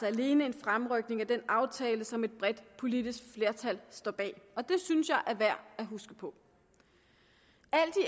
alene en fremrykning af den aftale som et bredt politisk flertal står bag og det synes jeg er værd at huske på